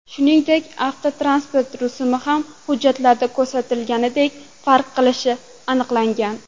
Shuningdek, avtotransport rusumi ham hujjatlarda ko‘rsatilgandan farq qilishi aniqlangan.